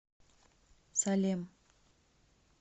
салем